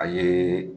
A ye